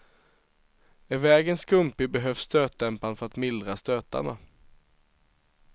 Är vägen skumpig behövs stötdämparen för att mildra stötarna.